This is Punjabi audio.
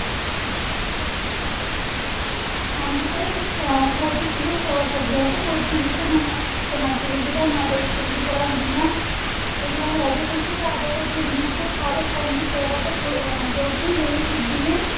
ਹਾਂਜੀ ਤੇ ਅਸੀਂ ਕੋਚੀ ਕਿਵੇਂ ਪਹੁੰਚ ਸਕਦੇ ਹਾਂ ਤੇ ਕੋਚੀ ਵਿਚ ਦਾ connectvity network ਚੰਗੀ ਤਰ੍ਹਾਂ ਬੁਣਿਆ ਹੋਇਆ ਹੈ ਤੇ ਤੁਸੀਂ ਭਾਰਤ ਦੇ ਦੁਨੀਆਂ ਦੇ ਸਾਰੇ primary ਸ਼ਹਿਰਾਂ ਤੋਂ ਕੋਚੀ ਲਈ ਸਿਧੀਆਂ